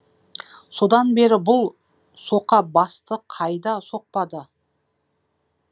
содан бері бұл соқа басты қайда соқпады